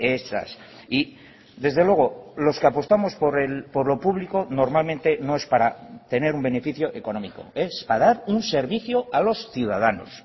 esas y desde luego los que apostamos por lo público normalmente no es para tener un beneficio económico es para dar un servicio a los ciudadanos